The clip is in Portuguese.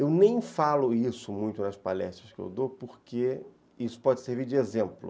Eu nem falo isso muito nas palestras que eu dou porque isso pode servir de exemplo.